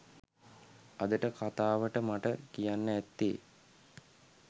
අදට කතාවට මට කියන්න ඇත්තේ